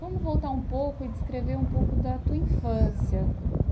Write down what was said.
Vamos voltar um pouco e descrever um pouco da tua infância.